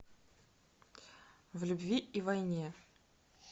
в любви и войне